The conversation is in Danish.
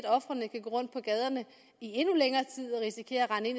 ofrene kan gå rundt på gaderne i endnu længere tid og risikere at